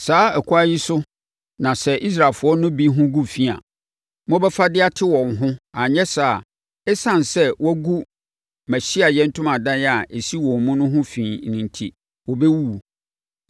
“ ‘Saa ɛkwan yi so na sɛ Israelfoɔ no bi ho gu fi a, mobɛfa de ate wɔn ho anyɛ saa a, ɛsiane sɛ wɔagu mʼAhyiaeɛ Ntomadan a ɛsi wɔn mu no ho fi enti, wɔbɛwuwu.’ ”